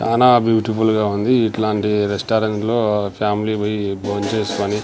చానా బ్యూటిఫుల్ గా ఉంది ఇట్లాంటి రెస్టారెంట్లో ఫ్యామిలీ పొయ్ భోంచేసుకుని.